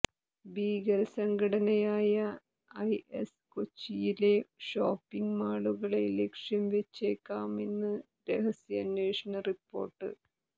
ഭീകര സംഘടനയായ ഐഎസ് കൊച്ചിയിലെ ഷോപ്പിങ് മാളുകളെ ലക്ഷ്യംവെച്ചേക്കാമെന്ന് രഹസ്യാന്വേഷണ റിപ്പോര്ട്ട്